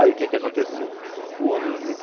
Aí o que é que aconteceu? O